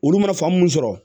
Olu mana faamu sɔrɔ